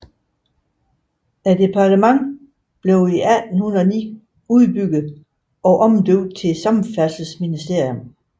Departementet blev i 1809 udbygget om omdøbt til Samfærdselsministeriet